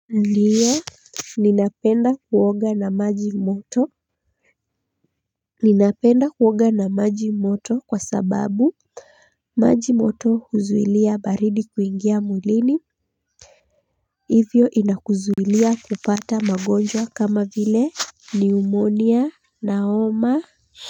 Ndio, ninapenda kuoga na maji moto. Ninapenda kuoga na maji moto kwa sababu maji moto huzuilia baridi kuingia mwilini, hivyo inakuzuilia kupata magonjwa kama vile niumonia na homa.